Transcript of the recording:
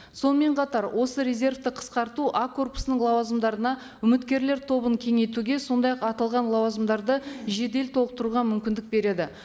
сонымен қатар осы резервті қысқарту а корпусының лауазымдарына үміткерлер тобын кеңейтуге сондай ақ аталған лауазымдарды жедел толтыруға мүмкіндік береді